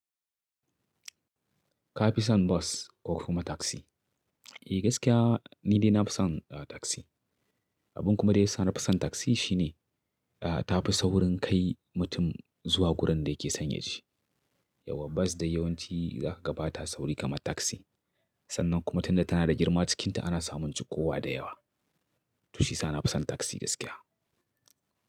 Ka fi son bus ko kuma taksi? E, gaskiya ni dai na fi son, ah, taksi. Abin kuma da ya sa na fi son taksi shi ne, ta fi saurin kai mutum zuwa gurin da yake so yaje. Yauwa bas dai yawanci za kaga bata sauri kamar taksi. Sannan kuma tunda tana da girma cikinta ana samun cikowa da yawa. To shi ya sa na fi son taksi gaskiya.